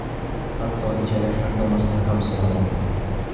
Hatto ijara shartnomasini ham so‘ramadi.